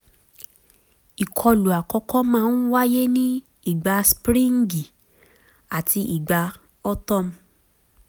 ìkọlù àkọ́kọ́ máa ń wáyé ní ìgbà spríǹgì àti ìgbà autumn